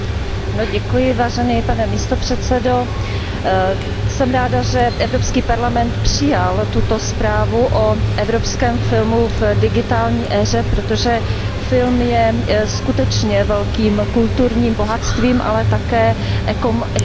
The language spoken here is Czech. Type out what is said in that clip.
Pane předsedající, jsem ráda, že Evropský parlament přijal tuto zprávu o evropském filmu v digitální éře, protože film je skutečně velkým kulturním bohatstvím, ale také ekonomickou silou.